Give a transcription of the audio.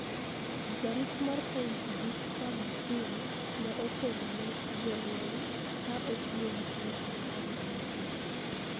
Jarit mar point Victor Bosire ne otelo ne jolweny ka otiyo gi point apar gi ochiko